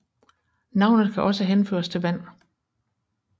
Navnet kan også henføres til vand